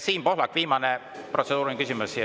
Siim Pohlak, viimane protseduuriline küsimus!